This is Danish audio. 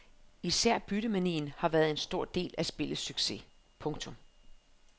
Især byttemanien har været en stor del af spillets succes. punktum